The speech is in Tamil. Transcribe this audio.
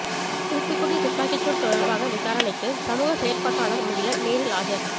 தூத்துக்குடி துப்பாக்கிச்சூடு தொடர்பாக விசாரணைக்கு சமூக செயற்பாட்டாளர் முகிலன் நேரில் ஆஜர்